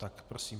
Tak prosím.